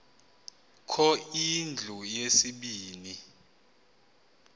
kho indlu yesibini